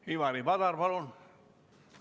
Ivari Padar, palun!